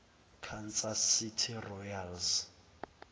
kansas city royals